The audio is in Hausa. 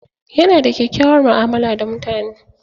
Yana da kyakkyawar mu'amala da mutane.